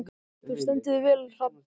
Þú stendur þig vel, Hrafnborg!